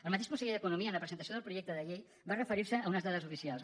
el mateix conseller d’economia en la presentació del projecte de llei va referirse a unes dades oficials